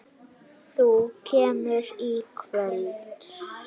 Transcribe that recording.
Þú kemur í kvöld!